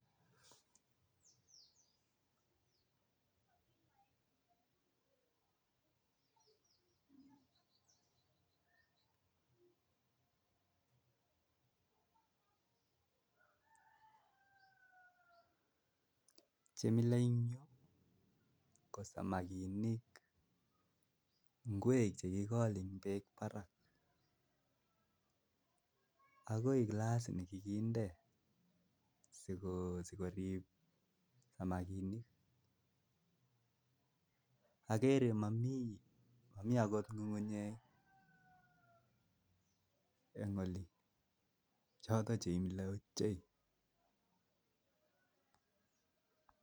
En yu akerei pichait nekararan nemilebich ko samakinik ak ngwek kora chekikinde taban kora ak tukuk alak kochotok chemilo ochei